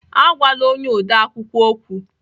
Agwala onye odeakwụkwọ okwu